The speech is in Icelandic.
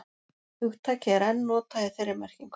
Hugtakið er enn notað í þeirri merkingu.